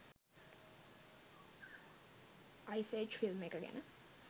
ice Age film එක ගැන